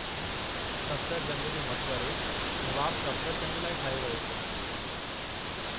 सफ़दरजंग जो मक़बरो नवाब सफ़दरजंग लाइ ठाहियो वियो हो।